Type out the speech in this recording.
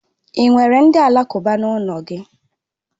Ị nwere ndị alakụba n'ụlọ gị?